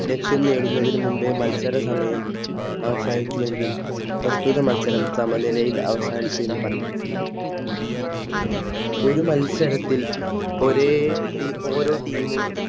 ലക്ഷ്യം നേടുന്നതിന് മുന്നേ മത്സര സമയം അവസാനിച്ചുവെങ്കിൽ പ്രസ്തുത മത്സരം സമാനിലയിൽ അവസാനിച്ചു എന്ന് പറയും ഒരു മത്സരത്തിൽ ഒരേ ഓരോ Team